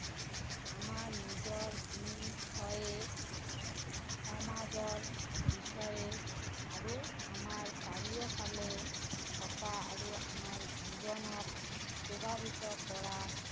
আমাৰ নিজৰ বিষয়ে সমাজৰ বিষয়ে আৰু আমাৰ চাৰিও ফালে থকা আৰু আমাৰ জীৱনক প্ৰভাৱিত কৰা